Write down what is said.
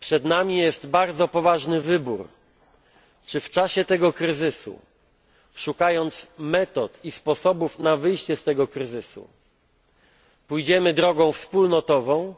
Przed nami bardzo poważny wybór czy w czasie tego kryzysu, szukając metod i sposobów na wyjście z niego, pójdziemy drogą wspólnotową,